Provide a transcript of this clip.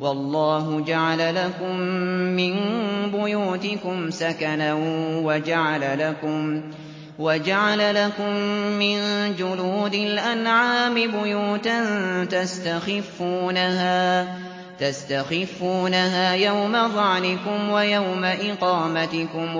وَاللَّهُ جَعَلَ لَكُم مِّن بُيُوتِكُمْ سَكَنًا وَجَعَلَ لَكُم مِّن جُلُودِ الْأَنْعَامِ بُيُوتًا تَسْتَخِفُّونَهَا يَوْمَ ظَعْنِكُمْ وَيَوْمَ إِقَامَتِكُمْ ۙ